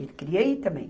Ele queria ir também.